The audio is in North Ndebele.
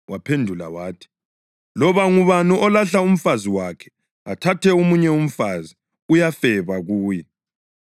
Waphendula wathi, “Loba ngubani olahla umfazi wakhe athathe omunye umfazi uyafeba kuye.